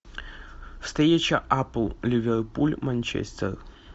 встреча апл ливерпуль манчестер